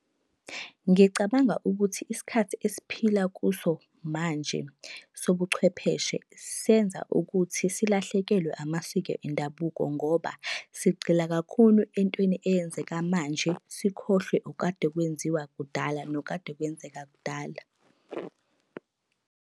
Ngicabanga ukuthi isikhathi esiphila kuso manje sobuchwepheshe senza ukuthi silahlekelwe amasiko endabuko ngoba sigqila kakhulu entweni eyenzeka manje sikhohlwe okade kwenziwa kudala nokade kwenzeka kudala.